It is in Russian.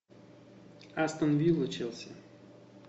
астон вилла челси